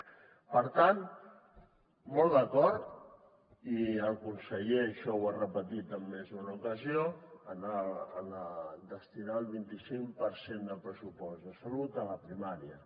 per tant molt d’acord i el conseller això ho ha repetit en més d’una ocasió en destinar el vint icinc per cent de pressupost de salut a la primària